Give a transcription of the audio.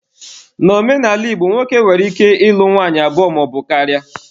Na omenala Igbo, nwoke nwere ike ịlụ nwanyị abụọ maọbu karịa.